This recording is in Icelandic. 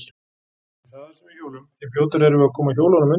Því hraðar sem við hjólum, því fljótari erum við að koma hjólunum undir okkur.